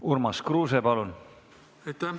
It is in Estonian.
Urmas Kruuse, palun!